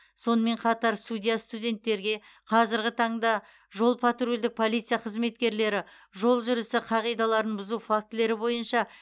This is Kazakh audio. сонымен қатар судья студенттерге қазіргі таңда жол патрульдік полиция қызметкерлері жол жүрісі қағидаларын бұзу фактілері бойынша